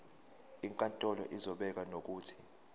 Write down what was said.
inkantolo izobeka nokuthi